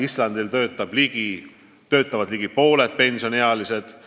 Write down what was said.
Islandil töötavad ligi pooled pensioniealised.